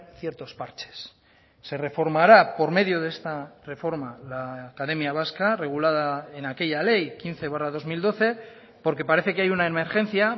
ciertos parches se reformará por medio de esta reforma la academia vasca regulada en aquella ley quince barra dos mil doce porque parece que hay una emergencia